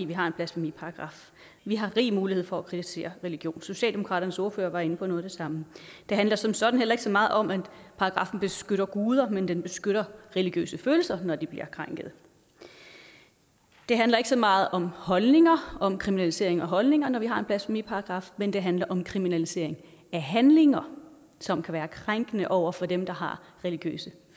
vi har en blasfemiparagraf vi har rig mulighed for at kritisere religion socialdemokratiets ordfører var inde på noget af det samme det handler som sådan heller ikke så meget om at paragraffen beskytter guder men den beskytter religiøse følelser når de bliver krænket det handler ikke så meget om holdninger om kriminalisering af holdninger når vi har en blasfemiparagraf men det handler om kriminalisering af handlinger som kan være krænkende over for dem der har religiøse